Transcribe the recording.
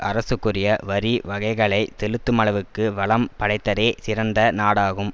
அரசுக்குரிய வரி வகைகளை செலுத்துமளவுக்கு வளம் படைத்ததே சிறந்த நாடாகும்